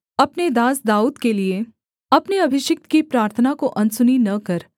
अपने दास दाऊद के लिये अपने अभिषिक्त की प्रार्थना को अनसुनी न कर